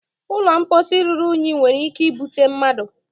ụlọ mposi ruru unyi nwere ike ibute mmadụ